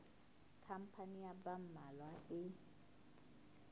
khampani ya ba mmalwa e